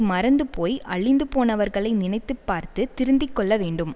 மறந்துபோய் அழிந்து போனவர்களை நினைத்து பார்த்து திருந்திக் கொள்ள வேண்டும்